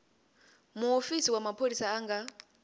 mufisi wa pholisa a nga